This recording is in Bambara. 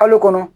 Kalo kɔnɔ